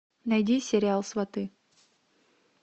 найди сериал сваты